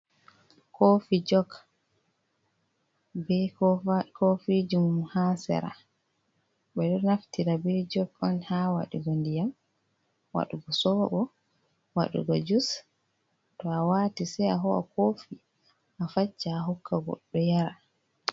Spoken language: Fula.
Kofi Jok, be kova kofijimum ha Sera ɓe ɗo Naftira be Jok on ha Waɗugo Ndiyam, Waɗugo Soɓo, Waɗugo Jus, to Awati Sei Aho'a Kofi Afacca Ahokka Godɗo Yara.